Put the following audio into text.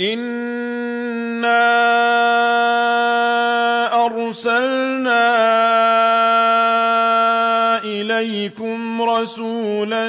إِنَّا أَرْسَلْنَا إِلَيْكُمْ رَسُولًا